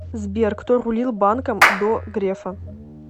сбер кто рулил банком до грефа